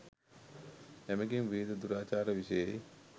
එමඟින් විවිධ දුරාචාර විෂයෙහි